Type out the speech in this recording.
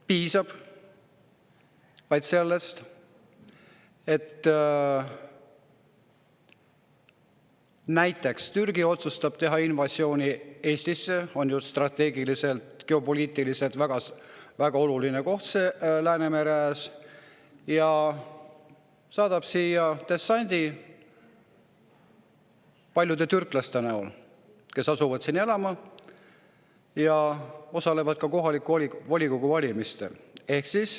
Piisaks vaid sellest, et Türgi otsustaks teha invasiooni Eestisse, mis on ju strateegiliselt ja geopoliitiliselt väga oluline koht Läänemere ääres, ja saadaks siia dessandi paljude türklaste näol, kes asuksid siia elama ja osaleksid ka kohalike volikogude valimistel.